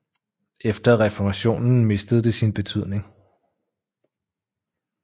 Efter reformationen mistede det sin betydning